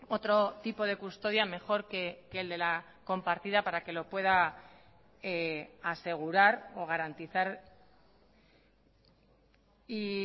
otro tipo de custodia mejor que el de la compartida para que lo pueda asegurar o garantizar y